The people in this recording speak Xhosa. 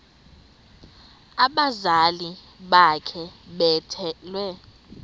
abazali bakhe bethwele